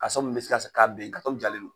Karitɔn min bɛ se ka ben karitɔn min jalen don.